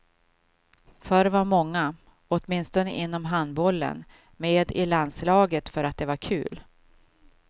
Förr var många, åtminstone inom handbollen, med i landslaget för att det var kul.